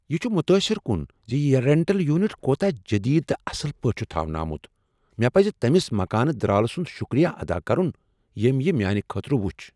یہ چھ متاثر کن ز یہ رینٹل یونٹ کوتاہ جدید تہٕ اصل پٲٹھۍ چھ تھاونہٕ آمت۔ مےٚ پزِ تٔمس مکان درالہٕ سند شکریہ ادا کرن ییٚمۍ یہ میانِہ خٲطرٕ وچھ۔